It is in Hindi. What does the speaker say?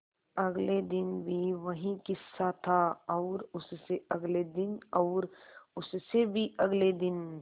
अगले दिन भी वही किस्सा था और उससे अगले दिन और उससे भी अगले दिन